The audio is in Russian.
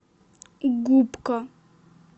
губка